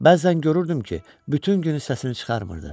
Bəzən görürdüm ki, bütün günü səsini çıxarmırdı.